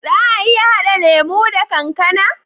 Za a iya hada lemo da kankAna?